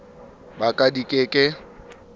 ba ka di ke ke